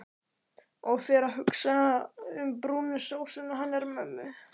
Og fer að hugsa um brúnu sósuna hennar mömmu.